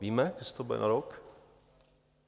Víme, jestli to bude na rok?